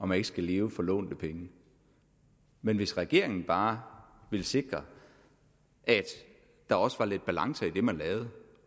man ikke skal leve for lånte penge hvis regeringen bare ville sikre at der også var lidt balance i det man lavede